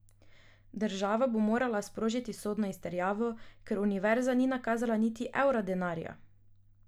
Država bo morala sprožiti sodno izterjavo, ker univerza ni nakazala niti evra denarja.